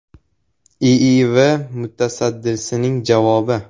IIV mutasaddisining javobi.